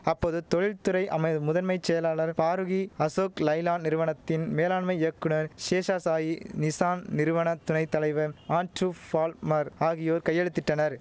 அப்போது தொழில்த் துறை அமை முதன்மை செயலாளர் பாரூகி அசோக் லைலாண் நிறுவனத்தின் மேலாண்மை இயக்குனர் சேஷசாயி நிசான் நிறுவன துணை தலைவர் ஆன்ட்ரூ ஃபால்மர் ஆகியோர் கையெழுத்திட்டனர்